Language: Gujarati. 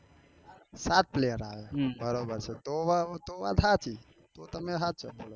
સાત player આવે તો વાત હાચી તો તમે હાચા